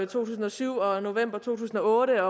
tusind og syv og november to tusind og otte